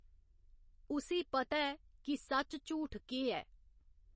उसी पता ऐ कि सच्च झूठ केह् ऐ।